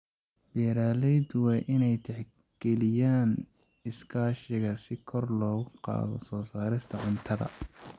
Beeraleydu waa inay tixgeliyaan iskaashiga si kor loogu qaado soo saarista cuntada.